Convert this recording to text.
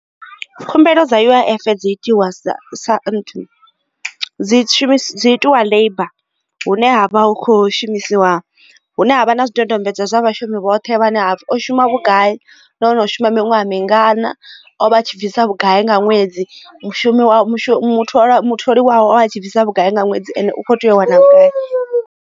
Khumbelo dza U_I_F dzi itiwa sa sa dzi dziitiwa labour hune havha hu kho shumisiwa hune havha na zwidodombedzwa zwa vhashumi vhoṱhe hafhu o shuma vhugai nahone u shuma miṅwaha mingana o vha a tshi bvisa vhugai nga ṅwedzi mushumi muthu a mutholi wawe a tshi bvisa vhugai nga ṅwedzi ene u kho tea u wana vhugai.